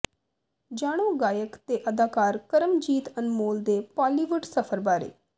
ਜਾਣੋ ਗਾਇਕ ਤੇ ਅਦਾਕਾਰ ਕਰਮਜੀਤ ਅਨਮੋਲ ਦੇ ਪਾਲੀਵੁਡ ਸਫਰ ਬਾਰੇ